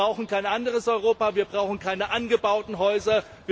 Wir brauchen kein anderes Europa, wir brauchen keine angebauten Häuser.